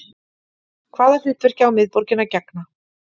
Hvaða hlutverki á miðborgin að gegna